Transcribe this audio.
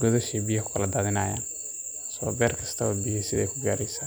godasha.